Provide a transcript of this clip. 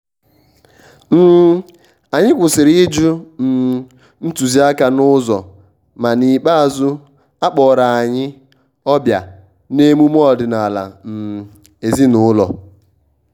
um anyị kwụsịrị ịjụ um ntuziaka n`ụzọ ma n`ikpeazu akpọrọ anyị ọbịa n`emume ọdịnaala um ezin`ụlọ